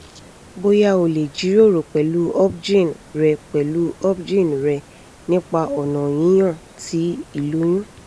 boya o le jiroro pẹlu obgyn rẹ pẹlu obgyn rẹ nipa ọna yiyan ti iloyun